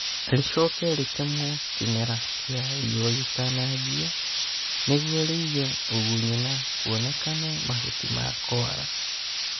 Rĩcoke rĩtemwo kĩmera kĩa riũa gĩtananjia nĩguo rĩige ũgunyu na kuonekane mahuti ma kũala